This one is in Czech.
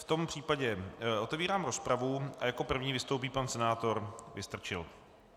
V tom případě otevírám rozpravu a jako první vystoupí pan senátor Vystrčil.